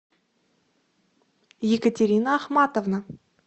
екатерина ахматовна